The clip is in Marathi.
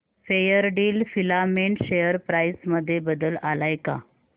फेयरडील फिलामेंट शेअर प्राइस मध्ये बदल आलाय का